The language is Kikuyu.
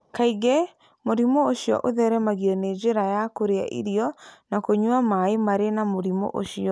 Kaingĩ mũrimũ ũcio ũtheremaga na njĩra ya kũrĩa irio na kũnyua maĩ marĩ na mũrimũ ũcio.